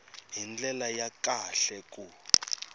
hi ndlela ya kahle ku